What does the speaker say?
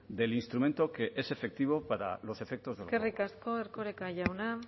del instrumento que es efectivo para los efectos de gobierno vasco eskerrik asko erkoreka jauna